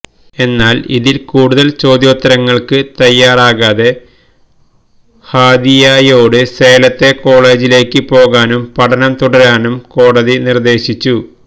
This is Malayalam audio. എന്നാൽ ഇതിൽ കൂടുതൽ ചോദ്യോത്തരങ്ങൾക്ക് തയ്യാറാകാതെ ഹാദിയയോട് സേലത്തെ കോളേജിലേക്ക് പോകാനും പഠനം തുടരാനും കോടതി നിർദ്ദേശിച്ചു